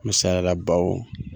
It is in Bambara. Misaliyara baw